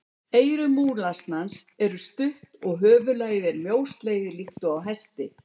Eyru múlasnans eru stutt og höfuðlagið er mjóslegið líkt og á hesti.